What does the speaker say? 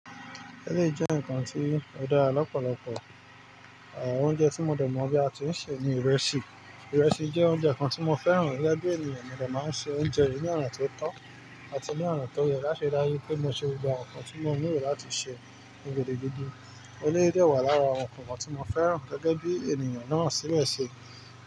Eléyìí jẹ́ ǹkan tí ó dára lọ́pọ̀lọpọ̀, oúnjẹ tí mo dẹ̀ mọ̀ bí a ti ń ṣe ni ìrẹsì. Ìrẹsì jẹ́ oúnjẹ kan tí mo fẹ́ràn gẹ́gẹ́ bí ènìyàn mi lò máa ń ṣe oúnjẹ yìí ní ọ̀nà tó tọ́ àti ní ọ̀nà tó yẹ láṣẹ láyé pé mo ṣe gba ǹkan tí mo nílò láti sè ọ̀gẹ̀dẹ̀ gidi. Eléyìí dẹwà lára àwọn ǹkan kan tí mo fẹ́ràn gẹ́gẹ́ bí ènìyàn náà ṣíṣe ṣe.